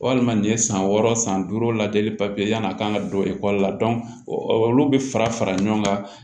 Walima nin ye san wɔɔrɔ san duuru lajɛli papiye yanni a ka don ekɔli la olu bɛ fara fara ɲɔgɔn kan